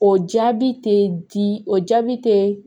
O jaabi tɛ di o jaabi tɛ